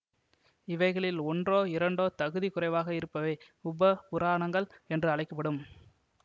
இவைகளில் ஒன்றோ இரண்டோ தகுதி குறைவாக இருப்பவை உப புராணங்கள் என்று அழைக்க படும்